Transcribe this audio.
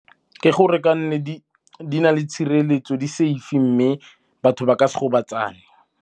Ke gore ke nne di na le tshireletso, di-safe-e mme batho ba ka se gobatsane.